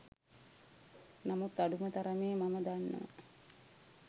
නමුත් අඩුම තරමේ මම දන්නවා